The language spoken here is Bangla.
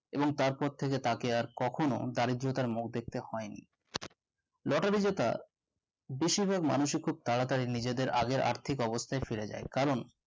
এবং তারপর থেকে তাকে আর কখনো দারিদ্যতার মুখ দেখতে হয়নি Lottery জেতা বেশিরভাগ মানুষই খুব তারাতারি নিজেদের আগের আর্থিক অবস্থায় ফিরে যায় কারণ